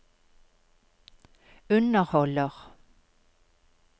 underholder